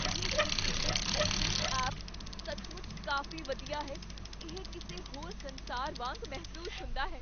ਇਹ ਸੰਸ਼ੋਧਿਤ ਅਸਲੀਅਤ ਐਪ ਸੱਚਮੁੱਚ ਕਾਫ਼ੀ ਵਧੀਆ ਹੈ। ਇਹ ਕਿਸੇ ਹੋਰ ਸੰਸਾਰ ਵਾਂਗ ਮਹਿਸੂਸ ਹੁੰਦਾ ਹੈ।